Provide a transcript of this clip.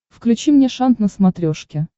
включи мне шант на смотрешке